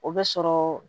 O bɛ sɔrɔ